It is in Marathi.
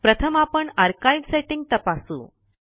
प्रथम आपण आर्काइव सेट्टींग तपासू